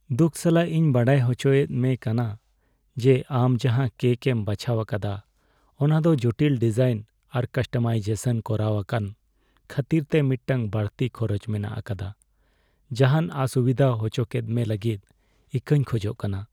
ᱫᱩᱠ ᱥᱟᱞᱟᱜ ᱤᱧ ᱵᱟᱲᱟᱭ ᱦᱚᱪᱚᱭᱮᱫ ᱢᱮ ᱠᱟᱱᱟ ᱡᱮ ᱟᱢ ᱡᱟᱦᱟᱸ ᱠᱮᱠ ᱮᱢ ᱵᱟᱪᱷᱟᱣ ᱟᱠᱟᱫᱟ ᱚᱱᱟ ᱫᱚ ᱡᱚᱴᱤᱞ ᱰᱤᱡᱟᱭᱤᱱ ᱟᱨ ᱠᱟᱥᱴᱚᱢᱟᱭᱡᱮᱥᱚᱱ ᱠᱚᱨᱟᱣ ᱟᱠᱟᱱ ᱠᱷᱟᱹᱛᱤᱨᱛᱮ ᱢᱤᱫᱴᱟᱝ ᱵᱟᱹᱲᱛᱤ ᱠᱷᱚᱨᱚᱪ ᱢᱮᱱᱟᱜ ᱟᱠᱟᱫᱟ ᱾ ᱡᱟᱦᱟᱱ ᱚᱥᱩᱵᱤᱫᱷᱟ ᱚᱪᱚᱠᱮᱫ ᱢᱮ ᱞᱟᱹᱜᱤᱫ ᱤᱠᱟᱹᱧ ᱠᱷᱚᱡᱚᱜ ᱠᱟᱱᱟ ᱾